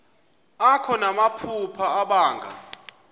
akho namaphupha abanga